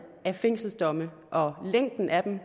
af fængselsdomme og længden af dem